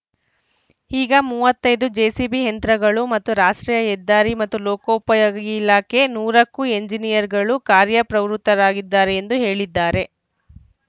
ಈಗ ಮೂವತ್ತ್ ಐದು ಜೆಸಿಬಿ ಯಂತ್ರಗಳು ಮತ್ತು ರಾಷ್ಟ್ರೀಯ ಹೆದ್ದಾರಿ ಮತ್ತು ಲೋಕೋಪಯೋಗಿ ಇಲಾಖೆ ನೂರಕ್ಕೂ ಎಂಜಿನಿಯರ್‌ಗಳು ಕಾರ್ಯ ಪ್ರವೃತ್ತರಾಗಿದ್ದಾರೆ ಎಂದು ಹೇಳಿದ್ದಾರೆ